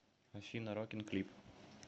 афина рокин клип